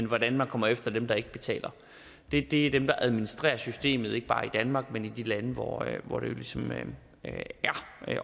hvordan man kommer efter dem der ikke betaler er det dem der administrerer systemet ikke bare i danmark men i de lande hvor hvor det ligesom er